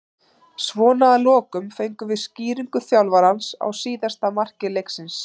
Svona að lokum fengum við skýringu þjálfarans á síðasta marki leiksins.